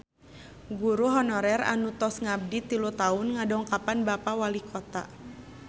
Guru honorer anu tos ngabdi tilu tahun ngadongkapan Bapak Walikota